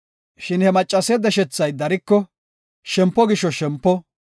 Shin he maccase deshethay dariko, shempo gisho shempo,